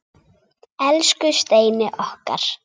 Elsku Steini okkar.